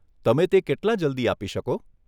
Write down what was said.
તમે તે કેટલાં જલ્દી આપી શકો?